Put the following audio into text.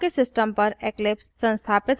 आपके system पर eclipse संस्थापित होना चाहिए